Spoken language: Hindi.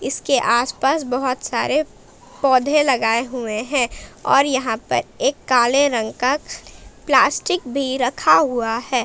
इसके आस पास बहोत सारे पौधे लगाए हुए हैं और यहां पर एक काले रंग का प्लास्टिक भी रखा हुआ है।